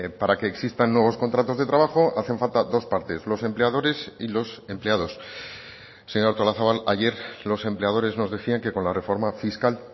para que existan nuevos contratos de trabajo hacen falta dos partes los empleadores y los empleados señora artolazabal ayer los empleadores nos decían que con la reforma fiscal